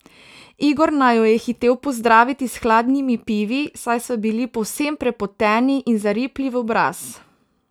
Igor naju je hitel pozdraviti s hladnimi pivi, saj sva bili povsem prepoteni in zaripli v obraz.